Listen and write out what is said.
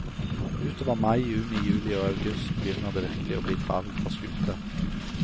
Utover mai, juni, juli og august begynner det virkelig å bli travelt for skuta.